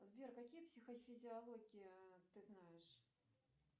сбер какие психофизиологии ты знаешь